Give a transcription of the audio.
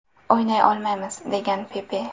O‘ynay olmaymiz”, degan Pepe.